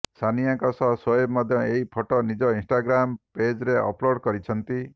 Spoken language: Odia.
ସାନିଆଙ୍କ ସହ ସୋଏବ ମଧ୍ୟ ଏହି ଫଟୋ ନିଜ ଇନଷ୍ଟାଗ୍ରାମ ପେଜ୍ରେ ଅପଲୋଡ କରିଛନ୍ତି